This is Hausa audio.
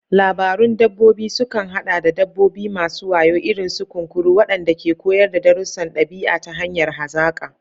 Labarun dabbobi sukan haɗa da dabbobi masu wayo, irin su kunkuru, waɗanda ke koyar da darussan ɗabi'a ta hanyar hazaƙa.